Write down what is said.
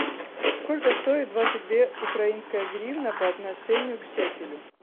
сколько стоит двадцать две украинская гривна по отношению к шекелю